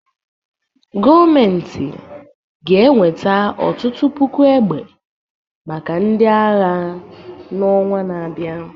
gọọmentị ga-enweta ọtụtụ puku egbe maka ndị agha n'ọnwa na-abịa